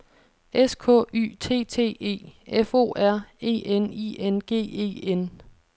S K Y T T E F O R E N I N G E N